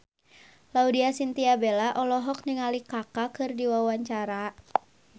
Laudya Chintya Bella olohok ningali Kaka keur diwawancara